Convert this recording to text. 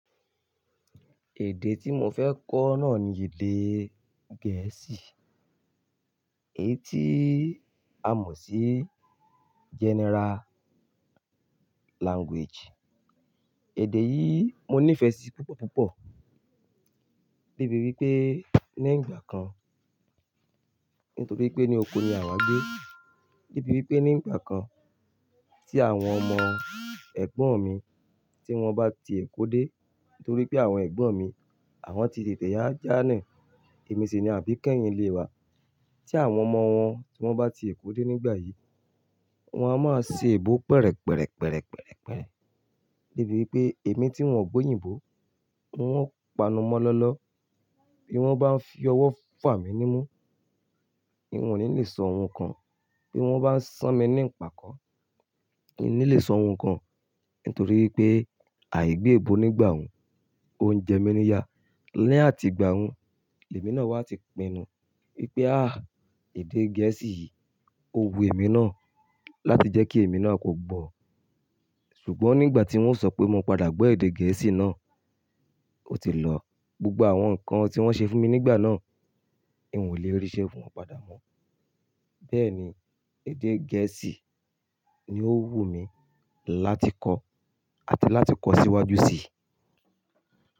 Èdè tí mo fẹ́ kọ́ náà ni èdè Gẹ̀ẹ́sì, èyí tí a mọ̀ sí general language. Èdè yìí mo nífẹ̀ẹ́ sí púpọ̀ púpọ̀ débi wípé ní ìgbà kan nítorí pé ní oko ni àwa ń gbé, débi wípé ní ìgbà kan tí àwọn ọmọ ẹ̀gbọ́n mi tí wọ́n bá ti Èkó dé, nítorí pé àwọn ẹ̀gbọ́n mi àwọn ti tètè yá jánà, èmi sì ni àbí kẹ́yin ilé wa. Tí àwọn ọmọ wọn, wọ́n bá ti Èkó dé nígbà yìí, wọ́n a máa ṣe èèbó pẹ̀rẹ̀pẹ̀rẹ̀ pẹ̀rẹ̀pẹ̀rẹ̀ pẹ̀rẹ̀ débi wípé èmi tí ń ò gbọ́ òyìnbó, n ó panu mọ́ lọ́lọ́. Bí wọ́n bá ń fi ọwọ́ fà mí nímú, n ò ní le sọ ohun kan. Bí wọ́n bá ń ṣán mí ní pàkọ́, n ò ní le sọ ohun kan nítorí pé àìgbè ebo nígbà hun, oúnjẹ mi ni ya. Ni àti ìgbà hun, lèmi náà wá ti pinnu wípé àh èdè Gẹ̀ẹ́sì yìí ó wu èmi náà láti jẹ́ kí èmi náà kò gbọ́. Ṣùgbọ́n nígbà tí wọ́n sọ pé mo padà gbọ́ èdè Gẹ̀ẹ́sì náà, ó ti lọ. Gbogbo àwọn nǹkan tí wọ́n ṣe fún mi nígbà náà, n ò lè ríṣẹ́ fún wọn padà mọ́. Bẹ́ẹ̀ni, èdè Gẹ̀ẹ́sì ni ó wù mí láti kọ́ àti láti kọ́ síwájú sí i.